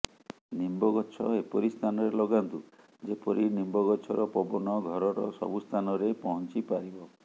ନିମ୍ବଗଛ ଏପରି ସ୍ଥାନରେ ଲଗାନ୍ତୁ ଯେପରି ନିମ୍ବଗଛର ପବନ ଘରର ସବୁ ସ୍ଥାନରେ ପହଞ୍ଚି ପାରିବ